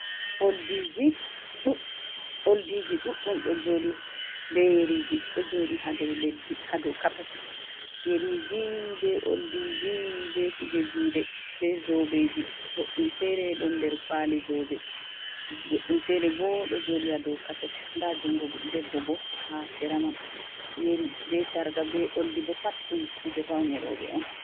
Oldiji ɗuɗɗum ɗo joɗi be Yeriji ɗo joɗi ha dou leddi ha dou kapet Yeriji be Oldiji be kuje juɗe be zobeji boɗɗum fere ɗon der kwali zobe boɗɗum fere bo ɗo jodi ha dou kapet nda jungo debbo bo ha sera man. Yeri be sarka be oldi bo pat ɗum kuje faune roɓe on.